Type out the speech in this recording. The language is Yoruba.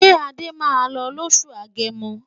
Ṣé Adé máa lọ lóṣù Agẹmọ?